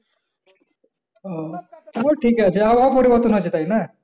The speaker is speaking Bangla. ও তাহলে ঠিক আছে আবহাওয়া পরিবর্তন হয়েছে তাইনা?